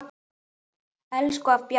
Elsku afi Bjarni.